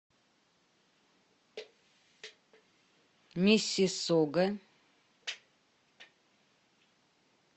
миссиссога